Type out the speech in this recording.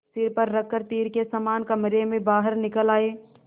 सिर पर रख कर तीर के समान कमरे के बाहर निकल आये